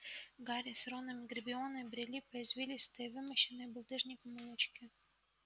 гарри с роном и гермионой брели по извилистой вымощенной булыжником улочке